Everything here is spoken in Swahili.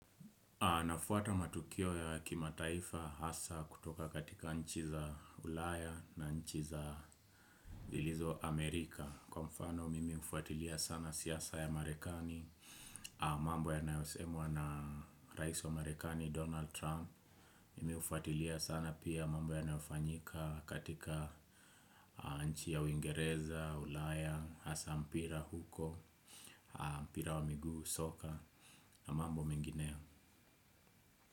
Nafuata matukio ya kimataifa hasa kutoka katika nchi za ulaya na nchi za zilizo Amerika. Kwa mfano mimi hufuatilia sana siasa ya marekani, mambo yanayosemwa na rais wa marekani Donald Trump. Mimi hufuatilia sana pia mambo yanayofanyika katika nchi ya uingereza, ulaya, hasa mpira huko, mpira wa miguu soka na mambo mengine ya.